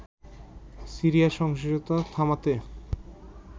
সিরিয়ায় সহিংসতা থামাতে